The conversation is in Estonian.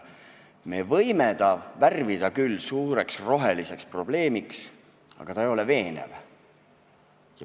Me võime ta värvida küll suureks roheliseks probleemiks, aga see ei ole veenev.